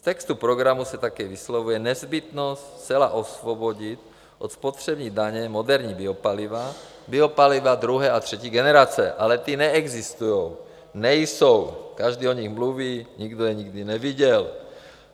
V textu programu se také vyslovuje nezbytnost zcela osvobodit od spotřební daně moderní biopaliva, biopaliva druhé a třetí generace - ale ta neexistují, nejsou, každý o nich mluví, nikdo je nikdy neviděl.